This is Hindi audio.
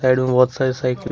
बहुत सारी साइकिल--